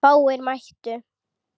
Fáir mættu.